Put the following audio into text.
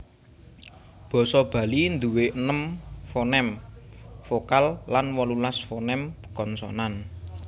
Basa Bali nduwé enem fonem vokal lan wolulas fonem konsonan